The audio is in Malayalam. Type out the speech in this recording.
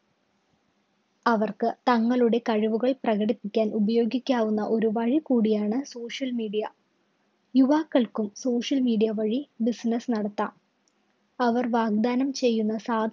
അവര്‍ക്ക് തങ്ങളുടെ കഴിവുകള്‍ പ്രകടിപ്പിക്കാന്‍ ഉപയോഗിക്കാവുന്ന ഒരു വഴി കൂടിയാണ് social media. യുവാക്കള്‍ക്കും social media വഴി business നടത്താം. അവര്‍ വാഗ്ദാനം ചെയ്യുന്ന സാ